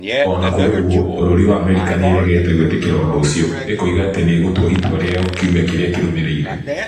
O na kũrĩ ũguo, Bũrũri wa Amerika nĩ ĩregete gwĩtĩkĩra ũndũ ũcio, ĩkoiga atĩ nĩ ĩgũtua itua rĩayo kiumia kĩrĩa kĩrũmĩrĩire.